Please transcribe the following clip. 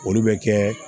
Olu bɛ kɛ